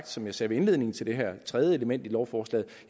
som jeg sagde ved indledningen til det her tredje element i lovforslaget